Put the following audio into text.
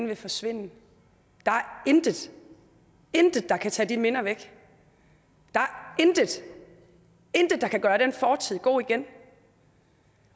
vil forsvinde der er intet intet der kan tage de minder væk der er intet intet der kan gøre den fortid god igen